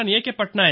Patnaik